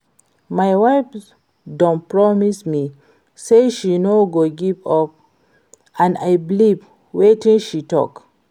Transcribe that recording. My wife don promise me say she no go give up and I believe wetin she talk